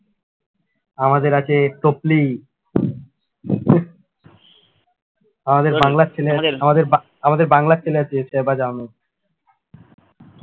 আমাদের আছে টপলি আমাদের আমাদের বাংলার ছেলে আছে